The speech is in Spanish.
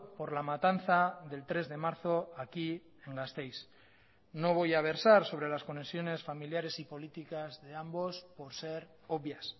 por la matanza del tres de marzo aquí en gasteiz no voy a versar sobre las conexiones familiares y políticas de ambos por ser obvias